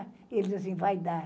E eles disseram assim, vai dar.